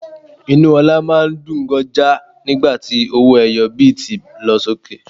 Inú ọlá máa ń dùn ganja nígbà tí owó ẹyọ bíítì lọ sókè.